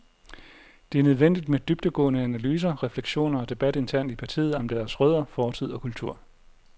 Det er det nødvendigt med dybdegående analyser, refleksioner og debat internt i partiet om deres rødder, fortid og kultur.